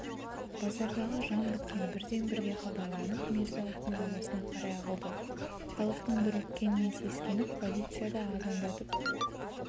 базардағы жан біткен бірден бірге хабарланып мирза-ауфтың ауласына қарай ағылды халықтың дүрліккенінен сескеніп полиция да азандатып